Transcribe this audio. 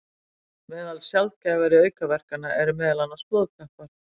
Meðal sjaldgæfari aukaverkana eru meðal annars blóðtappar.